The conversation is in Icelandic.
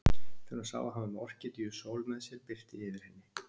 Þegar hún sá að hann var með Orkídeu Sól með sér birti yfir henni.